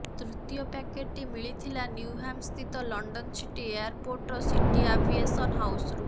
ତୃତୀୟ ପ୍ୟାକେଟ୍ଟି ମିଳିଥିଲା ନିଉହାମ୍ସ୍ଥିତ ଲଣ୍ଡନ୍ ସିଟି ଏୟାରପୋର୍ଟର ସିଟି ଆଭିଏସନ୍ ହାଉସ୍ରୁ